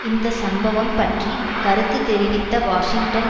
இந்த சம்பவம் பற்றி கருத்து தெரிவித்த வாஷிங்டன்